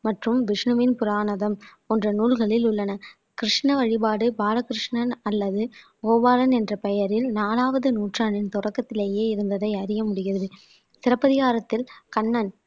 மற்றும் விஷ்ணுவின் புராணதம் போன்ற நூல்களில் உள்ளன கிருஷ்ண வழிபாடு பாலகிருஷ்ணன் அல்லது கோபாலன் என்ற பெயரில் நாலாவது நூற்றாண்டின் தொடக்கத்திலேயே இருந்ததை அறிய முடிகிறது சிலப்பதிகாரத்தில் கண்ணன்